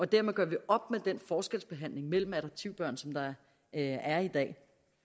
derved gør vi op med den forskelsbehandling mellem adoptivbørn som der er i dag